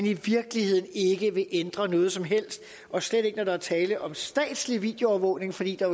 i virkeligheden ikke vil ændre noget som helst og slet ikke når der er tale om statslig videoovervågning fordi der